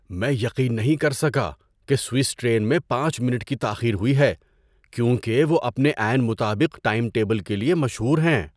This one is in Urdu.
میں یقین نہیں کر سکا کہ سوئس ٹرین میں پانچ منٹ کی تاخیر ہوئی ہے کیونکہ وہ اپنے عین مطابق ٹائم ٹیبل کے لیے مشہور ہیں۔